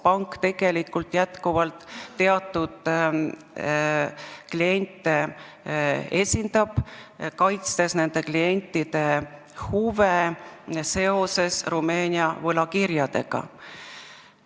Pank ju jätkuvalt esindab teatud kliente, kaitstes nende huve seoses Rumeenia võlakirjadega.